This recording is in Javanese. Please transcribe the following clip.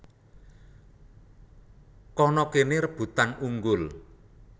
Kana kene rebutan unggul